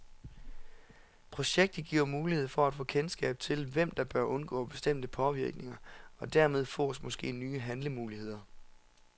Projektet giver mulighed for at få kendskab til, hvem der bør undgå bestemte påvirkninger, og dermed fås måske nye handlemuligheder.